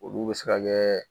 Olu bɛ se ka kɛ